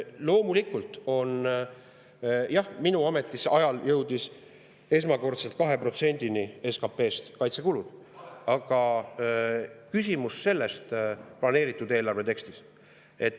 Loomulikult, jah, kaitsekulud jõudsid minu ametiajal esmakordselt 2%‑ni SKP‑st. Planeeritud eelarve tekstis.